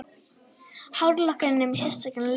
Hárlokkurinn með sérstakan lífvörð